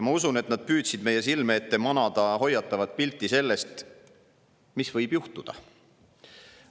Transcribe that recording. Ma usun, et nad püüdsid meie silme ette manada hoiatavat pilti sellest, mis võib juhtuda.